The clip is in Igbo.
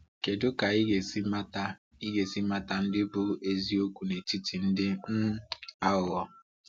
Kedu ka i ga-esi mata i ga-esi mata ndị bụ eziokwu n’etiti ndị um aghụghọ?